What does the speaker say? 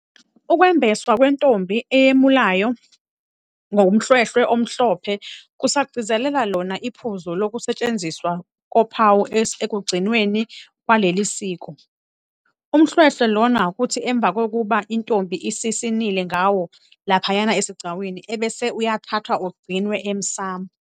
Ukwembeswa kwentombi eyemulayo ngomhlwehlwe omhlophe- kusagcizelela Iona iphuzu lokusetshenziswa kophawu ekugcinweni kwaleli siko. Umhlwehlwe Iona kuthi emva kokuba intombi isisinile ngawo laphaya esigcawini ebese uyathathwa ugcinwa emsamo.